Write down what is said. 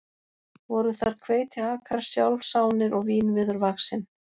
Voru þar hveitiakrar sjálfsánir og vínviður vaxinn.